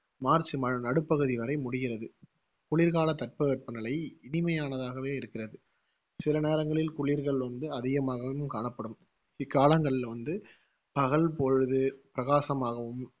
March ம~ நடுப்பகுதி வரை முடிகிறது. குளிர்கால தட்பவெப்பநிலை இனிமையானதாகவே இருக்கிறது சில நேரங்களில் குளிர்கள் வந்து அதிகமாகவும் காணப்படும் இக்காலங்களில வந்து பகல் பொழுது, பிரகாசமாகவும்,